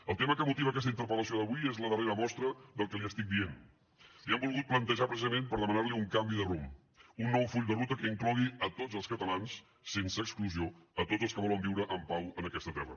el tema que motiva aquesta interpel·lació d’avui és la darrera mostra del que li estic dient li ho hem volgut plantejar precisament per demanar li un canvi de rumb un nou full de ruta que inclogui a tots els catalans sense exclusió a tots els que volen viure en pau en aquesta terra